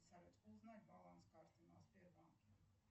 салют узнать баланс карты на сбербанке